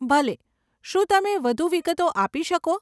ભલે, શું તમે વધુ વિગતો આપી શકો?